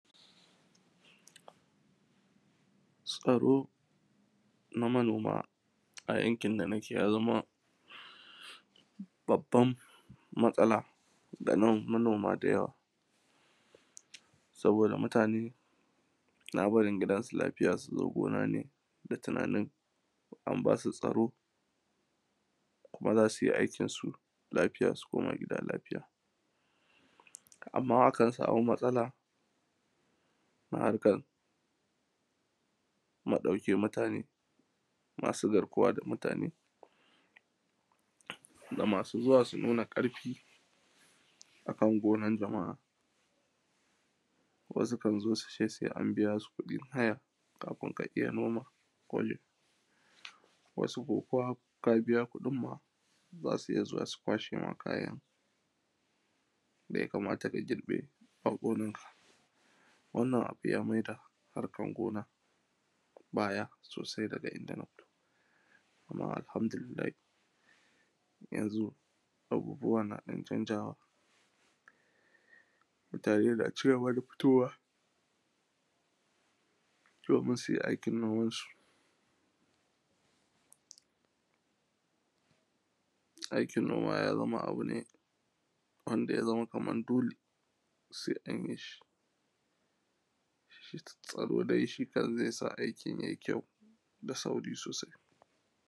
tsaro na manoma a yankin da nake yaza babban matsala ga manoma da yawa saboda mutane suna barin gida su lafya suzo gona ne da tunanin an basu tsaro kuma zasu yi aikin lafiya su koma gida lafiya amma akan samu matsala a harkan ma dauke mutane masu garkuwa mutane da masu zuwa su nuna karfi kan gonan dama wasu kanzo suce sai an biyasu kudin haya kafin ka iya noma gonan wasu kuma ko kabiya kudin ma zasu iyya zuwa su kwashe ma kayan daya kamata ka girbe a gonar ka wannan abu ya maida harkan gona baya sosai daga inda amma alhamdu lillahi yanzu abubuwa na dan canjawa mutane na cigaba da fitowa domin sui aikin noman su aikin noma yazama abune wanda yazama kaman dole sai anyi shi tsaro dai shikan zaisa aikin yai kyau da sauri sosai